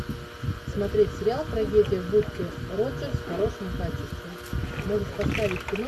смотреть сериал трагедия в бухте роджерс в хорошем качестве можешь поставить кино